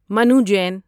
Manu Jain